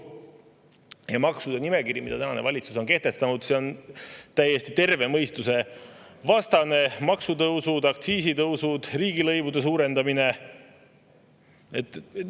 nimekiri, mis tänane valitsus on kehtestanud, on täiesti terve mõistuse vastane: maksutõusud, aktsiisitõusud, riigilõivude suurendamine.